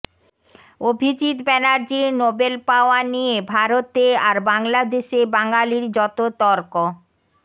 অভিজিৎ ব্যানার্জির নোবেল পাওয়া নিয়ে ভারতে আর বাংলাদেশে বাঙালির যত তর্ক